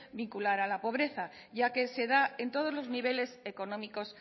vincular a la pobreza ya que se da en todos los niveles económicos